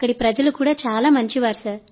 అక్కడి ప్రజలు కూడా చాలా మంచివారు